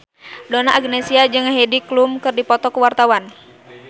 Donna Agnesia jeung Heidi Klum keur dipoto ku wartawan